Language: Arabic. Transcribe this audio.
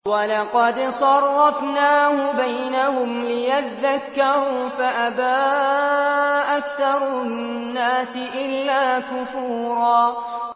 وَلَقَدْ صَرَّفْنَاهُ بَيْنَهُمْ لِيَذَّكَّرُوا فَأَبَىٰ أَكْثَرُ النَّاسِ إِلَّا كُفُورًا